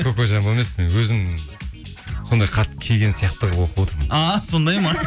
кокоджамбо емес мен өзім сондай хат келген сияқты қылып оқып отырмын а сондай ма